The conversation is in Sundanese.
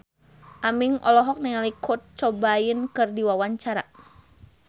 Aming olohok ningali Kurt Cobain keur diwawancara